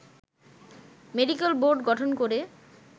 medical board গঠন করে